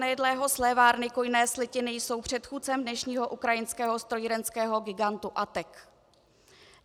Nejedlého slévárny kujné slitiny jsou předchůdcem dnešního ukrajinského strojírenského gigantu ATEK.